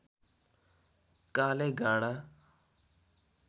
कालेगाँडा